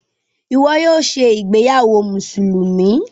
Ìwo yóò ṣe ìgbéyàwó Mùsùlùmí.